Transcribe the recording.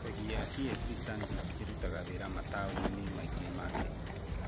Bengi ya CFC Stanbic ĩrutaga wĩra mataũni-inĩ maingĩ ma Kenya.